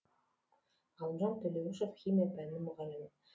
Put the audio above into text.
ғалымжан төлеуішев химия пәнінің мұғалімі